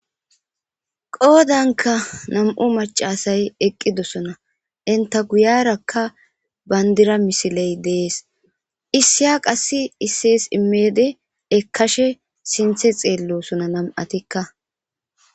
qoodanka nam7u macasay eqqidosona inta guyarakka bayndira misiley dees issiya qass issees immeede ekkashe sinthe xeellosona nam7atikka